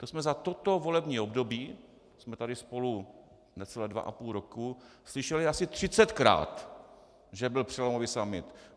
To jsme za toto volební období, jsme tady spolu necelých dva a půl roku, slyšeli asi třicetkrát, že byl přelomový summit.